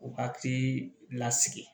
U hakili lasigi